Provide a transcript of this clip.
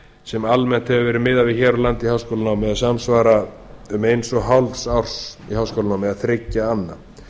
sem almennt hefur verið miðað við hér á landi í háskólanámi eða sem samsvara um eins og hálfs árs háskólanámi eða þriggja anna